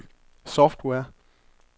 software